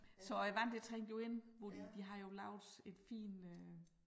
Så æ vand det trængte jo ind hvor de de har jo lavet et fint øh